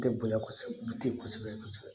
Tɛ bonya kosɛbɛ du kosɛbɛ kosɛbɛ kosɛbɛ